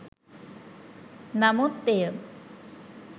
නමුත් එය